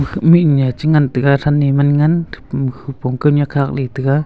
khak mihnya chengan taiga than e manngan thaihpa hupong khunya khakley taiga.